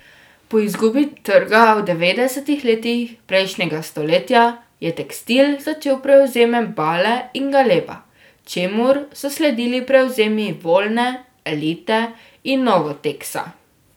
Po izgubi trga v devetdesetih letih prejšnjega stoletja je Tekstil začel prevzeme Bale in Galeba, čemur so sledili prevzemi Volne, Elite in Novoteksa.